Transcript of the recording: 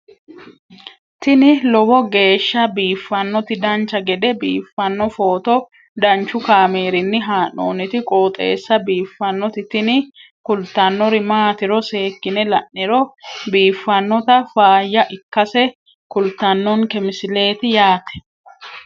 tini lowo geeshsha biiffannoti dancha gede biiffanno footo danchu kaameerinni haa'noonniti qooxeessa biiffannoti tini kultannori maatiro seekkine la'niro biiffannota faayya ikkase kultannoke misileeti yaate